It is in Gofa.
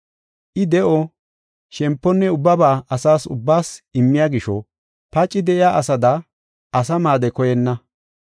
I de7o, shemponne ubbaba asa ubbaas immiya gisho paci de7iya asada asa maade koyenna.